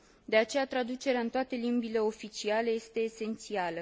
De aceea, traducerea în toate limbile oficiale este esențială.